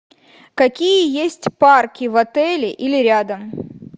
какие есть парки в отеле или рядом